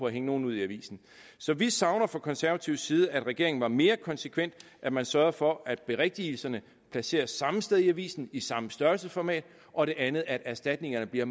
at hænge nogen ud i avisen så vi savner fra konservativ side at regeringen var mere konsekvent at man sørgede for at berigtigelserne placeres samme sted i avisen i samme størrelsesformat og det andet er at erstatningerne bliver